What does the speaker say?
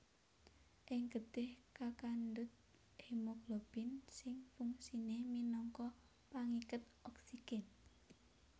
Ing getih kakandhut hemoglobin sing fungsiné minangka pangiket oksigèn